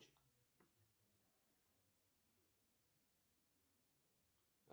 сбер как я могу посмотреть от кого мне было поступление на карту